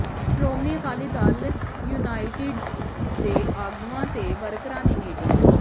Shiromani Akali Dal United ਦੇ ਆਗੂਆਂ ਤੇ ਵਰਕਰਾਂ ਦੀ ਮੀਟਿੰਗ